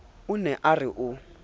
o ne a re o